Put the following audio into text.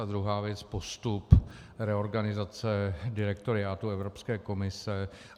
A druhá věc: postup reorganizace direktoriátu Evropské komise.